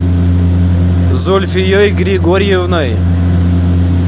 зульфией григорьевной